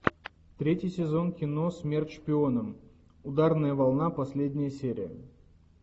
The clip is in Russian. третий сезон кино смерть шпионам ударная волна последняя серия